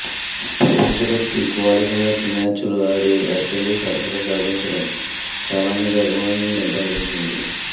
ప్రపంచకప్కి qualifiers మ్యాచ్లు ఆడి West Indies అర్హత సాధించడం చాలా మంది అభిమానులల్ని బాధించింది